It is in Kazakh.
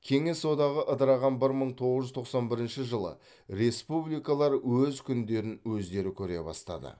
кеңес одағы ыдыраған бір мың тоғыз жүз тоқсан бірінші жылы республикалар өз күндерін өздері көре бастады